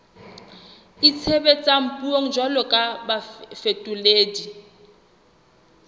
itshebetsang puong jwalo ka bafetoledi